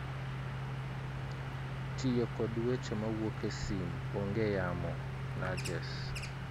Tiyo kod weche mawuok e sim ong'ee yamo "nudges